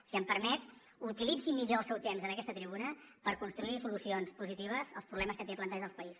si em permet utilitzi millor el seu temps en aquesta tribuna per construir solucions positives als problemes que té plantejat el país